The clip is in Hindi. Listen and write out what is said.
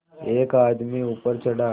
एक आदमी ऊपर चढ़ा